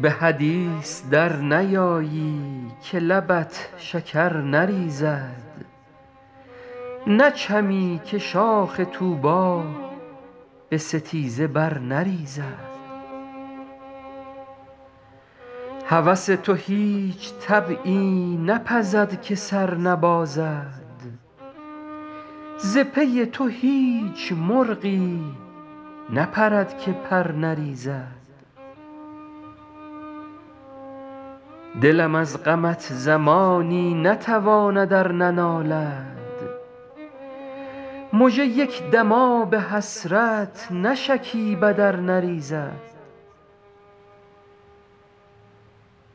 به حدیث در نیایی که لبت شکر نریزد نچمی که شاخ طوبی به ستیزه بر نریزد هوس تو هیچ طبعی نپزد که سر نبازد ز پی تو هیچ مرغی نپرد که پر نریزد دلم از غمت زمانی نتواند ار ننالد مژه یک دم آب حسرت نشکیبد ار نریزد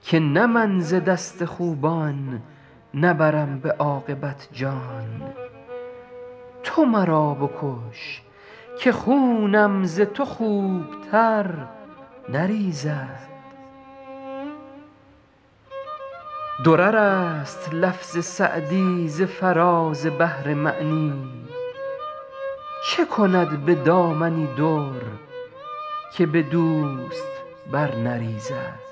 که نه من ز دست خوبان نبرم به عاقبت جان تو مرا بکش که خونم ز تو خوبتر نریزد درر است لفظ سعدی ز فراز بحر معنی چه کند به دامنی در که به دوست بر نریزد